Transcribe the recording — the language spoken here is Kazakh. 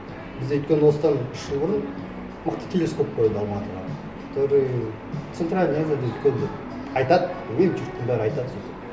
бізде өйткені осыдан үш жыл бұрын мықты телескоп қойды алматыға который центральная азияда үлкен деп айтады өй жұрттың бәрі айтады сосын